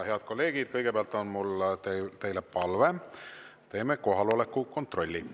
Head kolleegid, kõigepealt on mul teile palve: teeme kohaloleku kontrolli.